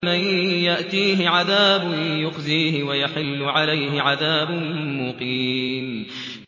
مَن يَأْتِيهِ عَذَابٌ يُخْزِيهِ وَيَحِلُّ عَلَيْهِ عَذَابٌ مُّقِيمٌ